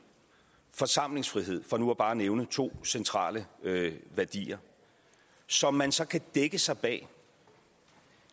og forsamlingsfrihed for nu bare at nævne to centrale værdier som man så kan dække sig bag